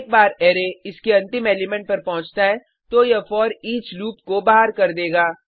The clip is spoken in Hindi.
एक बार अरै इसके अंतिम एलिमेंट पर पहुँचता है तो यह फोरिच लूप को बाहर कर देगा